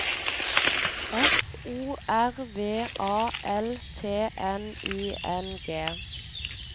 F O R V A L T N I N G